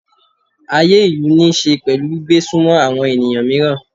Ayé ìlú níí ṣe pẹ̀lú gbígbé sunmọ́ àwọn ènìyàn mìíràn.